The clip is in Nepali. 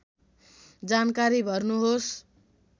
जानकारी भर्नुहोस्